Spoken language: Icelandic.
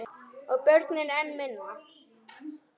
Og börnin enn minna.